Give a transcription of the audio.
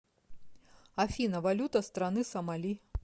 афина валюта страны сомали